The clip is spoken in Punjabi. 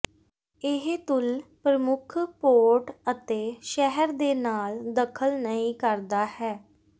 ਇਹ ਤੁਲ ਪ੍ਰਮੁੱਖ ਪੋਰਟ ਅਤੇ ਸ਼ਹਿਰ ਦੇ ਨਾਲ ਦਖਲ ਨਹੀ ਕਰਦਾ ਹੈ